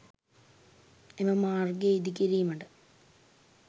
එම මාර්ගය ඉදි කිරීමට